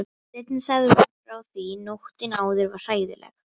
Seinna sagði hún svo frá því: Nóttin áður var hræðileg.